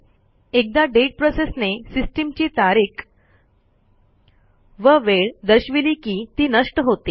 एकदा दाते प्रोसेसने सिस्टीमची तारीख व वेळ दर्शविली की ती नष्ट होते